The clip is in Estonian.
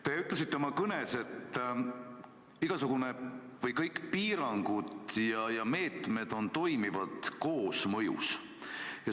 Te ütlesite oma kõnes, et igasugused piirangud ja meetmed toimivad koosmõjus.